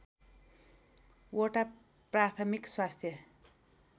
वटा प्राथमिक स्वास्थ्य